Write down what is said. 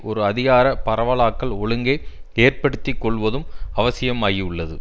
ஒரு அதிகார பரவலாக்கல் ஒழுங்கை ஏற்படுத்திக்கொள்வதும் அவசியமாகியுள்ளது